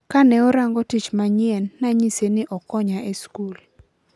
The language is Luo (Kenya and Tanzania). kaneorango tich manyien nanyise ni okonya e school.